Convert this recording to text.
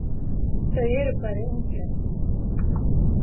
Þau eru bæði ungleg.